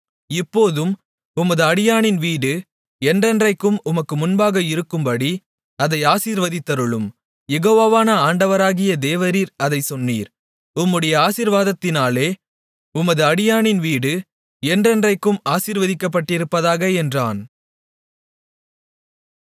இப்போதும் உமது அடியானின் வீடு என்றென்றைக்கும் உமக்கு முன்பாக இருக்கும்படி அதை ஆசீர்வதித்தருளும் யெகோவாவான ஆண்டவராகிய தேவரீர் அதைச் சொன்னீர் உம்முடைய ஆசீர்வாதத்தினாலே உமது அடியானின் வீடு என்றென்றைக்கும் ஆசீர்வதிக்கப்பட்டிருப்பதாக என்றான்